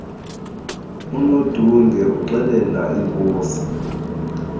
unodunge uxelela inkosi